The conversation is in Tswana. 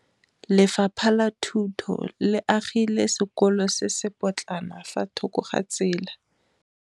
Lefapha la Thuto le agile sekôlô se se pôtlana fa thoko ga tsela.